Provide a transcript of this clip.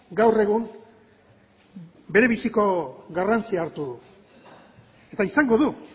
gaur egun berebiziko garrantzia hartu du eta izango du